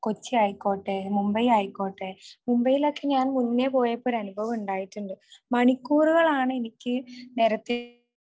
കൊച്ചി ആയിക്കോട്ടെ മുംബൈ ആയിക്കോട്ടെ മുംബൈയിലൊക്കെ ഞാൻ മുന്നേ പോയപ്പോ ഒരനുഭവം ഉണ്ടായിട്ടുണ്ട്. മണിക്കൂറുകളാണ് എനിക്ക് നേരത്തെ